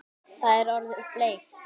Það er orðið bleikt!